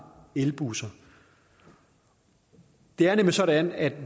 elbusser det er nemlig sådan at